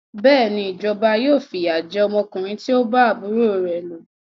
Bẹ́ẹ̀ni, ìjọba yóò fi ìyà jẹ ọmọkùnrin tí o bá àbúrò rẹ lò.